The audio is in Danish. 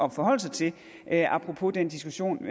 at forholde sig til apropos den diskussion